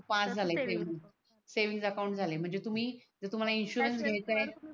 फार झाले saving saving account झालेय म्हणजे तुम्ही तुम्हाला इंश्योरेंस घ्यायच आहे त्यात